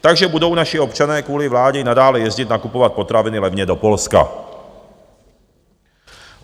Takže budou naši občané kvůli vládě nadále jezdit nakupovat potraviny levně do Polska.